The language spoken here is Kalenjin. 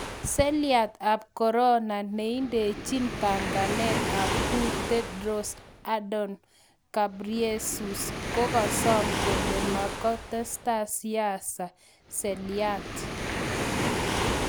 selyat ap korona : neindichin panganet ap WHO Tedros Adhanom Ghebreyesus kogasom kole matketesta siasa selyaat